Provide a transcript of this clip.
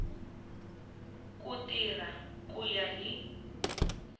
ku tirha ku ya hi